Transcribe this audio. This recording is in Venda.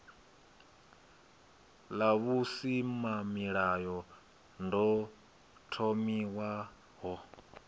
ḽa v husimamilayo ḓo thomiwaho